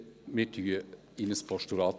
Wir wandeln in ein Postulat.